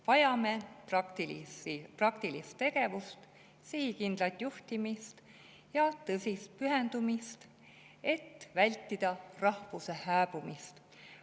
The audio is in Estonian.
Vajame praktilist tegevust, sihikindlat juhtimist ja tõsist pühendumist, et vältida rahvuse hääbumist.